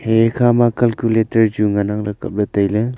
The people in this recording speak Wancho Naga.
hi khama calculator chu nganang ley kapley tailey.